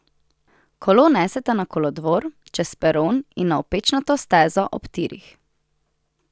Kolo neseta na kolodvor, čez peron in na opečnato stezo ob tirih.